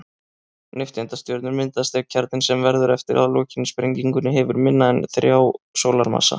Nifteindastjörnur myndast ef kjarninn, sem verður eftir að lokinni sprengingunni, hefur minna en þrjá sólarmassa.